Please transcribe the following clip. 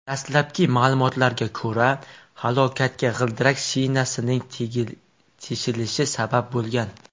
Dastlabki ma’lumotlarga ko‘ra, halokatga g‘ildirak shinasining teshilishi sabab bo‘lgan.